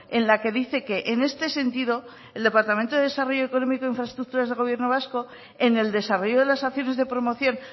en la que dice que en este sentido el departamento de desarrollo económico e infraestructuras del gobierno vasco en el desarrollo de las acciones de promoción